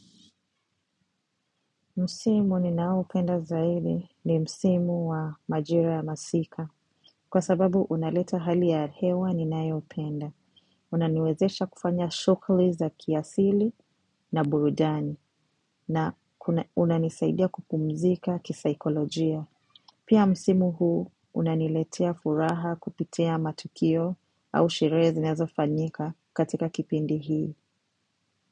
Msimu ninaopenda zaidi ni msimu wa majira ya masika. Kwa sababu unaleta hali ya hewa ninayopenda. Unaniwezesha kufanya shugli za kiasili na burudani. Na unanisaidia kupumzika kisaikolojia. Pia msimu huu unaniletea furaha kupitia matukio au sherehe zinazofanyika katika kipindi hii.